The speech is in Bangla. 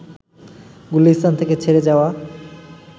গুলিস্তান থেকে ছেড়ে যাওয়া